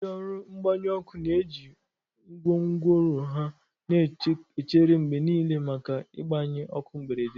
Ndị ọrụ mgbanyụ ọkụ na-eji gwongworo ha na-echere mgbe niile, maka igbanyị ọkụ mberede.